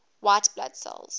white blood cells